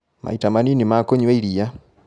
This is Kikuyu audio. Maita manini ma kũnyua iria